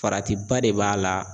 Faratiba de b'a la.